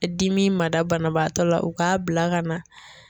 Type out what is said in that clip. Dimi ma da banabaatɔ la u k'a bila ka na.